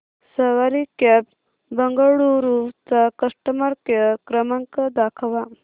सवारी cabs Bengaluru चा customer care क्रमांक दाखवा